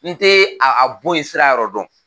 N tɛ a bɔ yen sira yɔrɔ dɔn